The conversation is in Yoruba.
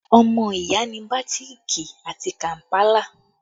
Ọmọ ìyá ni bàtíìkì àti kàmpálà